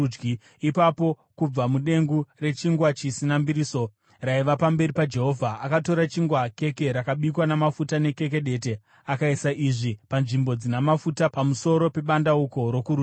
Ipapo kubva mudengu rechingwa chisina mbiriso raiva pamberi paJehovha, akatora chingwa, keke rakabikwa namafuta nekeke dete, akaisa izvi panzvimbo dzina mafuta pamusoro pebandauko rokurudyi.